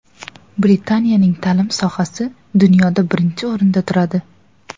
Britaniyaning ta’lim sohasi dunyoda birinchi o‘rinda turadi.